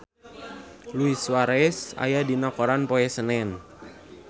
Luis Suarez aya dina koran poe Senen